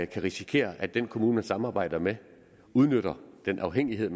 kan risikere at den kommune de samarbejder med udnytter den afhængighed